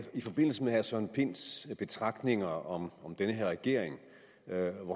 forbindelse med herre søren pinds betragtninger om den her regering